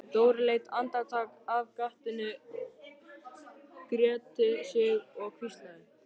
Dóri leit andartak af gatinu, gretti sig og hvíslaði: